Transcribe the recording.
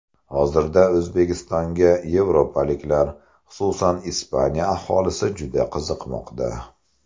Hozirda O‘zbekistonga yevropaliklar, xususan Ispaniya aholisi juda qiziqmoqda.